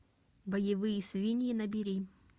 боевые свиньи набери